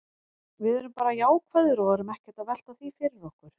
Við erum bara jákvæðir og erum ekkert að velta því fyrir okkur.